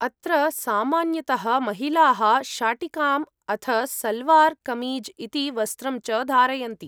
अत्र सामान्यतः महिलाः शाटिकाम् अथ सलवार् कमीज् इति वस्त्रं च धारयन्ति।